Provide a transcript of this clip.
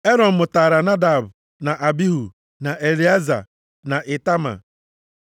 Erọn mụtara Nadab, na Abihu, na Elieza, na Itama.